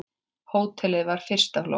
Hótelið var fyrsta flokks.